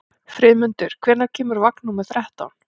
Friðmundur, hvenær kemur vagn númer þrettán?